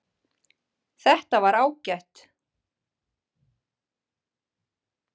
Þetta var ágætt